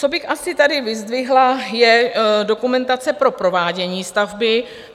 Co bych asi tady vyzdvihla je dokumentace pro provádění stavby.